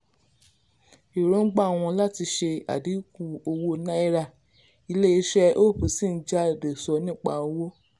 èròǹgbà wọn làti ṣe adínkù owó náírà ilé iṣẹ́ hope sì ń jáde ṣọ nípa owó